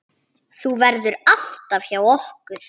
Þú verður alltaf hjá okkur.